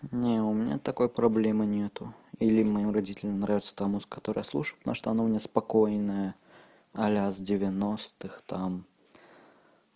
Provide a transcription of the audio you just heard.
не у меня такой проблема нет или моим родителям нравится тому с которой служит на что она у меня спокойная а-ля с девяностых там